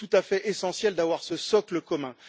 Il est tout à fait essentiel d'avoir ce socle commun.